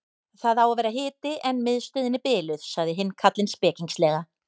Það á að vera hiti en miðstöðin er biluð sagði hinn karlinn spekingslega.